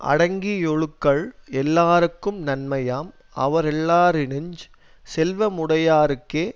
அடங்கியொழுகல் எல்லார்க்கும் நன்மையாம் அவரெல்லாரினுஞ் செல்வமுடையார்க்கே